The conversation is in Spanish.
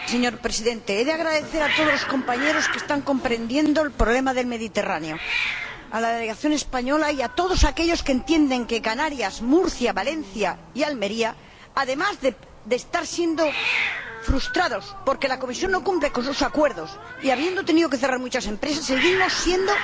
Señor Presidente, he de agradecer a todos los compañeros que están comprendiendo el problema del Mediterráneo, a la delegación española y a todos aquellos que entienden que Canarias, Murcia, Valencia y Almería, además de estar siendo frustrados porque la Comisión no cumple con sus acuerdos, y habiendo tenido que cerrar muchas empresas, seguimos siendo